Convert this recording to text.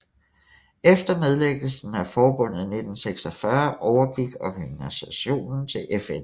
Efter nedlæggelsen af forbundet i 1946 overgik organisationen til FN